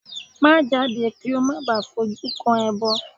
Má jáde kí ó má baà fojú kó ẹbọ!